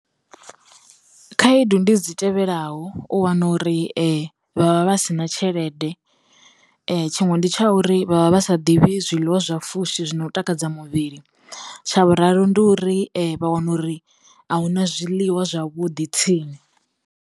Khaedu ndi dzi tevhelaho, u wana uri vhavha vhasina tshelede, tshiṅwe ndi tsha uri vha vha vha sa ḓivhi zwiḽiwa zwa fushi zwino takadza muvhili, tsha vhuraru ndi uri vha wana uri a hu na zwiḽiwa zwavhudi tsini.